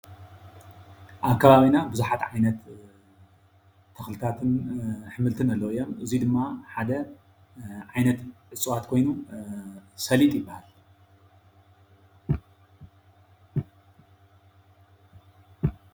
ኣብ ከባቢና ቡዙሓት ዓይነት ተኽልታትን ኣሕምልትን ኣለው እዮም። እዙይ ድማ ሓደ ዓይነት እፅዋት ኾይኑ ሰሊጥ ይበሃል።